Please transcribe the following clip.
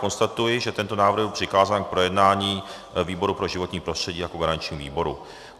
Konstatuji, že tento návrh byl přikázán k projednání výboru pro životní prostředí jako garančnímu výboru.